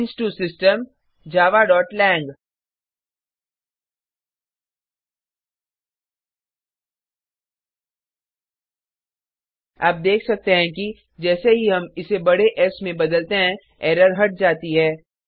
change to system javaलांग आप देख सकते हैं कि जैसे ही हम इसे बडे एस में बदलते हैं एरर हट जाती है